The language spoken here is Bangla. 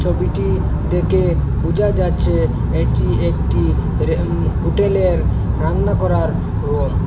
ছবিটি দেকে বুজা যাচ্চে এটি একটি হে রে হুটেলে র রান্না করার রুম ।